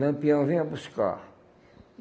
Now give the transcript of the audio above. Lampião venha buscar.